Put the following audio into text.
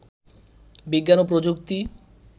বিজ্ঞান ও প্রযুক্তি